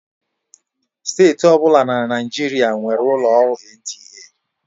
Steeti ọ bụla na Naịjirịa nwere ụlọ ọrụ NTA.